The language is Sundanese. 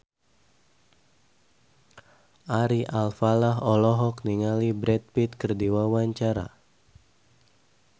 Ari Alfalah olohok ningali Brad Pitt keur diwawancara